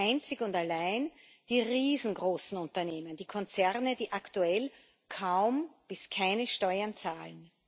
Sie schützen einzig und allein die riesengroßen Unternehmen, die Konzerne, die aktuell kaum bis keine Steuern zahlen.